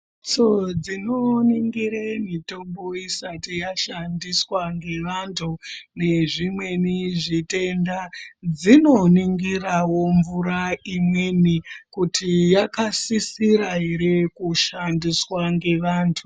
Mphatso dzinoningire mitombo isati yashandiswa ngevanthu nezvimweni zvitenda dzinoningirawo mvura imweni kuti yakasisira ere kushandiswa ngevanthu.